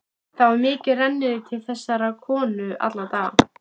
Það var mikið rennirí til þessarar konu alla daga.